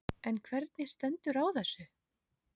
En hvernig stendur á þessu?